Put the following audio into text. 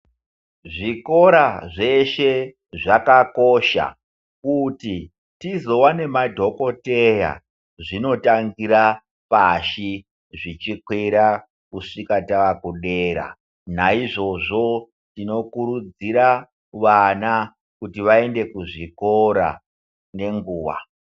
Zvikora zveshe zvakakosha kuti tizive nemadhokodheya zvinotangira pashi zvichikwira kusvika takudera naizvozvo tinokurudzira vana kuti vaende kuzvikora ngenguwa.